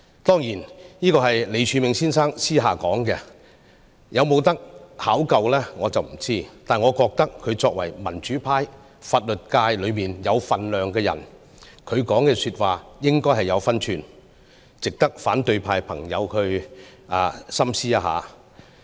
"當然，這是李柱銘先生私下所說，我不肯定可否考究，但我覺得他作為民主派法律界有分量的人，他的說話應該有分寸，值得反對派朋友深思一下。